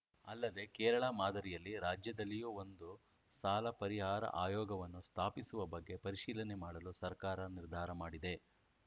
ಅಲ್ಲದೆ ಕೇರಳ ಮಾದರಿಯಲ್ಲಿ ರಾಜ್ಯದಲ್ಲಿಯೂ ಒಂದು ಸಾಲ ಪರಿಹಾರ ಆಯೋಗವನ್ನು ಸ್ಥಾಪಿಸುವ ಬಗ್ಗೆ ಪರಿಶೀಲನೆ ಮಾಡಲು ಸರ್ಕಾರ ನಿರ್ಧಾರ ಮಾಡಿದೆ